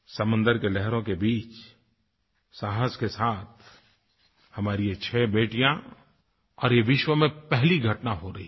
समुन्द्र की लहरों के बीच साहस के साथ हमारी ये छ बेटियां और ये विश्व में पहली घटना हो रही है